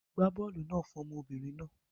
Gbá bọ́ọ́lù náà fún ọmọbìnrin náà.